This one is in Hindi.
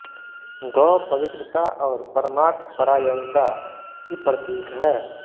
गौ पवित्रता और परमार्थ परायणता की प्रतीक है